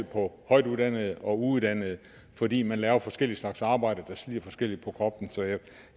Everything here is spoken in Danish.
på højtuddannede og uddannede fordi de laver forskellige slags arbejde der slider forskelligt på kroppen så jeg